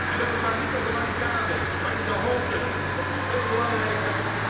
En weliswaar niet op de barricaden, maar in de hoofden, dat is veel belangrijker.